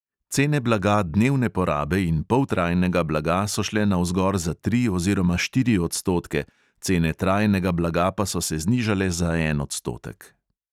Cene blaga dnevne porabe in poltrajnega blaga so šle navzgor za tri oziroma štiri odstotke, cene trajnega blaga pa so se znižale za en odstotek.